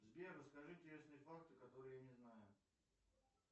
сбер расскажи интересные факты которые я не знаю